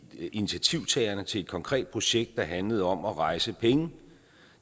initiativtagerne til et konkret projekt der handlede om at rejse penge